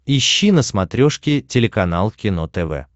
ищи на смотрешке телеканал кино тв